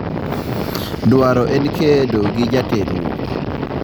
“Dwaro en kedo gi joterruok.”